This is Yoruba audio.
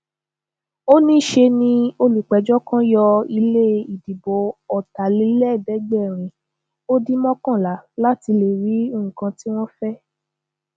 ó ní ṣe ni olùpẹjọ kan yọ ilé ìdìbò ọtàlélẹẹẹdẹgbẹrin ó dín mọkànlá láti lè rí nǹkan tí wọn fẹ